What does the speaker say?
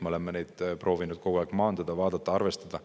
Me oleme kogu aeg proovinud neid hirme maandada ja nendega arvestada.